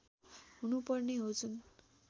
हुनुपर्ने हो जुन